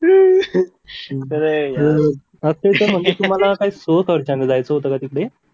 अक्षय तो म्हणजे तुम्हाला हो स्वखर्चाने जायचं होतं